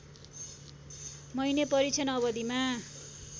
महिने परीक्षण अवधिमा